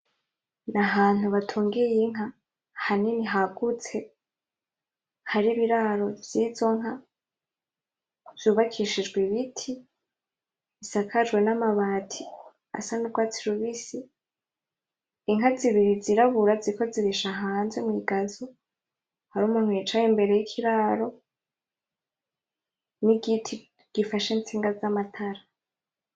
Nahantu batungiye inka hanini hagutse hari ibiraro vyizonka vyubakishijwe ibiti bisakajwe n'amabati asa nurwatsi rubisi , inka zibiri zirabura ziriko zirisha hanze mwigazo hariho umuntu yicaye imbere yikiraro, nigiti gifashe intsinga z'amatara .